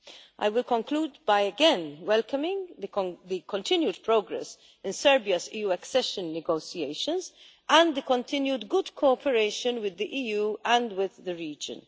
I will conclude by again welcoming the continued progress in Serbia's EU accession negotiations and the continued good cooperation with the EU and with the region.